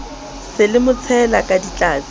se le motshela ka ditlatse